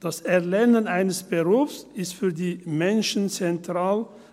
Das Erlernen eines Berufs ist für die Menschen zentral;